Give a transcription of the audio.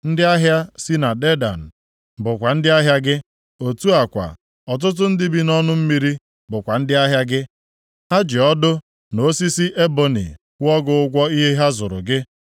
“ ‘Ndị ahịa si na Dedan bụkwa ndị ahịa gị. Otu a kwa ọtụtụ ndị bi nʼọnụ mmiri bụkwa ndị ahịa gị. Ha ji ọdụ, na osisi eboni kwụọ gị ụgwọ ihe ha zụrụ gị.